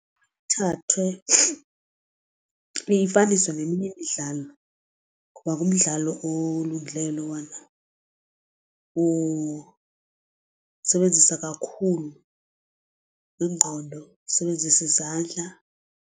thathwe iyifaniswe neminye imidlalo ngoba ngumdlalo olungileyo lowana usebenzisa kakhulu ingqondo usebenzisa izandla.